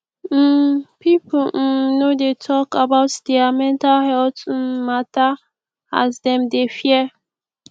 um pipu um no dey tok about their mental healt um mata as dem dey fear